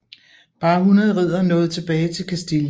Bare 100 riddere nåede tilbage til Kastilien